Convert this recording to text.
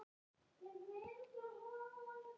Gerður er sein í gang.